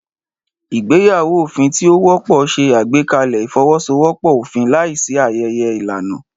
Ìgbéyàwó òfin tí ó wọ́pọ̀ ṣe àgbékalẹ̀ ìfọwọ́sowọ́pọ̀ òfin láìsí ayẹyẹ ìlànà.